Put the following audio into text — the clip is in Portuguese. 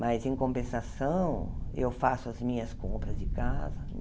Mas, em compensação, eu faço as minhas compras de casa.